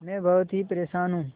मैं बहुत ही परेशान हूँ